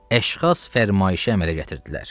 Əşxas fərmayışə əmələ gətirdilər.